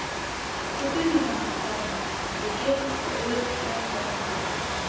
Þú finnur hana, Kjartan, þú getur svo auðveldlega flett henni upp.